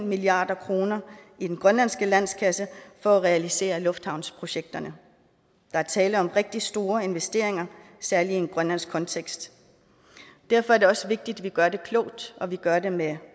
milliard kroner i den grønlandske landskasse for at realisere lufthavnsprojekterne der er tale om rigtig store investeringer særlig i en grønlandsk kontekst derfor er det også vigtigt at vi gør det klogt og at vi gør det med